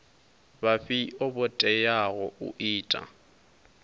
vhafhio vho teaho u ita